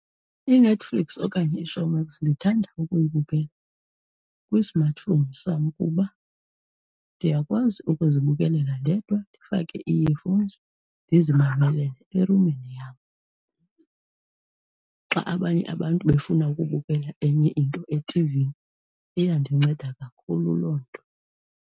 INetflix okanye iShowmax ndithanda ukuyibukela kwi-smartphone sam kuba ndiyakwazi ukuzibukelela ndedwa ndifake ii-earphones ndizimamelele erumini yam xa abanye abantu befuna ukubukela enye into etivini. Iyandinceda kakhulu loo nto.